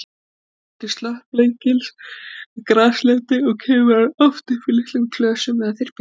Kjörlendi slöttblekils er graslendi og kemur hann oft upp í litlum klösum eða þyrpingum.